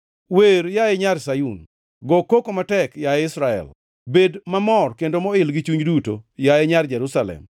Wer, yaye nyar Sayun, go koko matek, yaye Israel! Bed mamor kendo moil gi chunyi duto, yaye nyar Jerusalem!